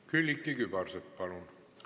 Külliki Kübarsepp, palun!